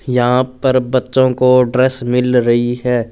यहां पर बच्चों को ड्रेस मिल रही है।